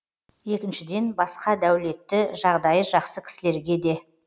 екіншіден басқа дәулетті жағдайы жақсы кісілерге де